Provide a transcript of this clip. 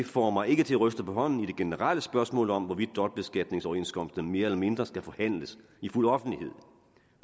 får mig ikke til at ryste på hånden i det generelle spørgsmål om hvorvidt dobbeltbeskatningsoverenskomster mere eller mindre skal forhandles i fuld offentlighed